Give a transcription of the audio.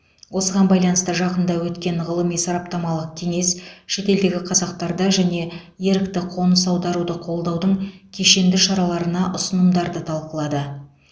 осыған байланысты жақында өткен ғылыми сараптамалық кеңес шетелдегі қазақтарды және ерікті қоныс аударуды қолдаудың кешенді шараларына ұсынымдарды талқылады